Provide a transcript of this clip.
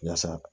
Yasa